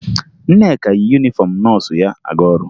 Nneka yi yunifọmụ nọọsụ ya aga ọrụ